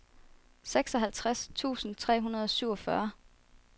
seksoghalvtreds tusind tre hundrede og syvogfyrre